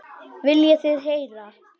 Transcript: Viljið þið heyra?